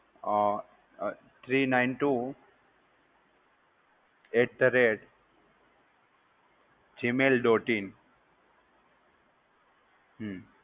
અમ um three nine two at the rate gmail dot in. Hmm